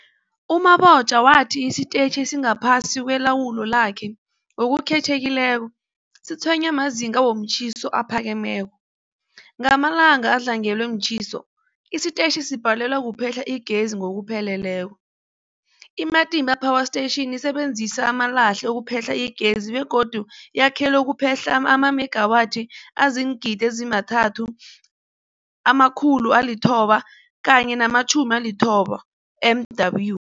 U-Mabotja wathi isitetjhi esingaphasi kwelawulo lakhe, ngokukhethekileko, sitshwenywa mazinga womtjhiso aphakemeko. Ngamalanga adlangelwe mtjhiso, isitetjhi sibhalelwa kuphehla igezi ngokupheleleko. I-Matimba Power Station isebenzisa amalahle ukuphehla igezi begodu yakhelwe ukuphehla amamegawathi azii-3990 MW.